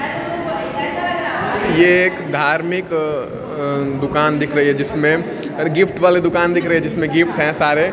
ये एक धार्मिक अअ दुकान दिख रही है जिसमें अर गिफ्ट वाली दुकान दिख रही है जिसमें गिफ्ट हैं सारे।